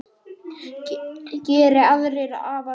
Geri aðrir afar betur.